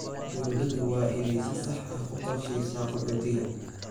Dawladdu waa inay si sax ah u qorsheysaa qaxootiga.